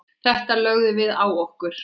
Þetta lögðum við á okkur.